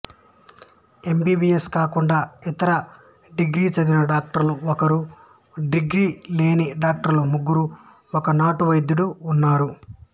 MBBS కాకుండా ఇతర degree చదివిన డాక్టరు ఒకరు డిగ్రీ లేని డాక్టర్లు ముగ్గురు ఒక నాటు వైద్యుడు ఉన్నారు